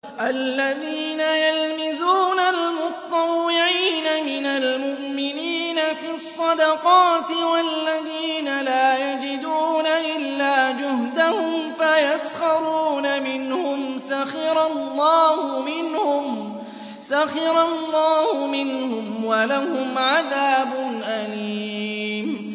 الَّذِينَ يَلْمِزُونَ الْمُطَّوِّعِينَ مِنَ الْمُؤْمِنِينَ فِي الصَّدَقَاتِ وَالَّذِينَ لَا يَجِدُونَ إِلَّا جُهْدَهُمْ فَيَسْخَرُونَ مِنْهُمْ ۙ سَخِرَ اللَّهُ مِنْهُمْ وَلَهُمْ عَذَابٌ أَلِيمٌ